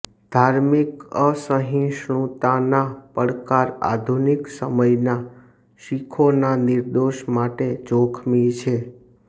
ધાર્મિક અસહિષ્ણુતાના પડકાર આધુનિક સમયના શીખોના નિર્દોષ માટે જોખમી છે